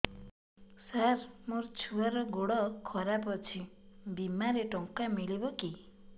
ସାର ମୋର ଛୁଆର ଗୋଡ ଖରାପ ଅଛି ବିମାରେ ଟଙ୍କା ମିଳିବ କି